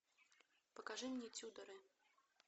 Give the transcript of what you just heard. покажи мне тюдоры